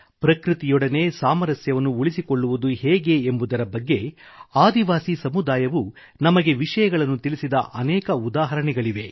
ಪ್ರಕೃತಿಯೊಡನೆ ಸಾಮರಸ್ಯವನ್ನು ಉಳಿಸಿಕೊಳ್ಳುವುದು ಹೇಗೆ ಎಂಬುದರ ಬಗ್ಗೆ ಆದಿವಾಸಿ ಸಮುದಾಯವು ನಮಗೆ ವಿಷಯಗಳನ್ನು ತಿಳಿಸಿದ ಅನೇಕ ಉದಾಹರಣೆಗಳಿವೆ